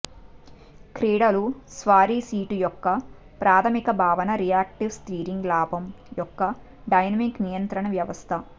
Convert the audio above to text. క్రీడలు స్వారీ సీటు యొక్క ప్రాథమిక భావన రియాక్టివ్ స్టీరింగ్ లాభం యొక్క డైనమిక్ నియంత్రణ వ్యవస్థ